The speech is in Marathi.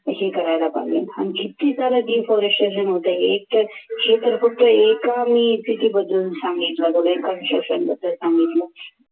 हे करायला पाहिजे अन किती सारं Deforestation होतंय एकतर हे तर कुठं एका मी एका City बद्दल सांगितलं सांगितलं